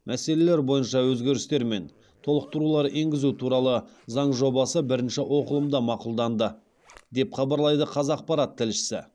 мәселелер бойынша өзгерістер мен толықтырулар енгізу туралы заң жобасы бірінші оқылымда мақұлданды деп хабарлайды қазақпарат тілшісі